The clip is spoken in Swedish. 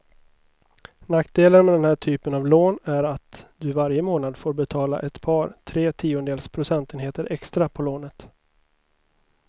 Nackdelen med den här typen av lån är att du varje månad får betala ett par, tre tiondels procentenheter extra på lånet.